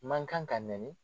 Man kan ka nɛni.